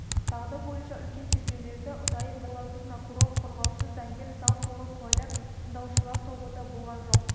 дағды бойынша үлкен тергеулерде ұдайы болатын прокурор қорғаушы заңгер зал толы куәлар тыңдаушылар тобы да болған жоқ